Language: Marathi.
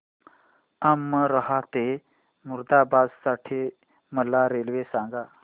अमरोहा ते मुरादाबाद साठी मला रेल्वे सांगा